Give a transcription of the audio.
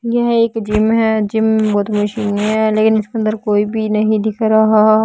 यह एक जिम है जिम वो तो मशीने है लेकिन इसके अंदर कोई भी नहीं दिख रहा।